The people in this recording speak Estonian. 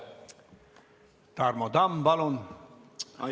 Tarmo Tamm, palun!